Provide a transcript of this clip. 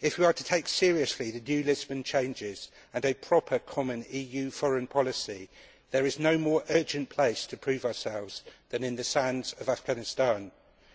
If we are to take seriously the new Lisbon changes and a proper common EU foreign policy, there is no more urgent place to prove ourselves than in the sands of Afghanistan,